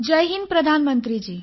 Jai Hind प्रधानमंत्रीजी